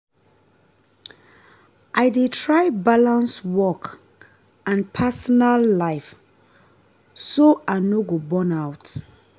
i dey try balance work and personal life so i no go burn out.